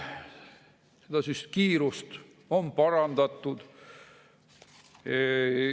Seda kiirust on parandatud.